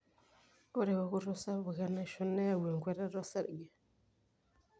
ore eokoto sapuk enaisho neyau enkwetata osarge